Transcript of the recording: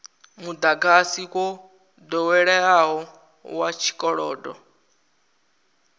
mudagasi wo doweleaho wa tshikolodo